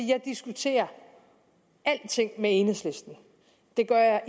jeg diskuterer alting med enhedslisten det gør